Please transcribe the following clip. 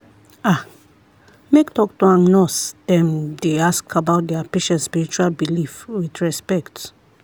ah make doctor and nurse dem dey ask about their patient spiritual belief with respect.